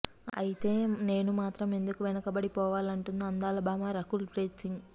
అయితే నేను మాత్రం ఎందుకు వెనకబడి పోవాలంటోంది అందాల భామ రకుల్ ప్రీత్ సింగ్